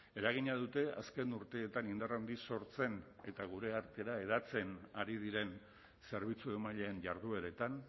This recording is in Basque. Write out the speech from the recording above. eragina dute azken urteetan indar handiz sortzen eta gure artera hedatzen ari diren zerbitzu emaileen jardueretan